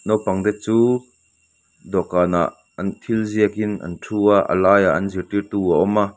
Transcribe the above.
naupangte chu dawhkanah an thil ziakin an thu a a laiah an zirtirtu a awm a.